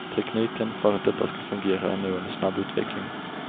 Tekniken för att detta ska fungera är nu under snabb utveckling.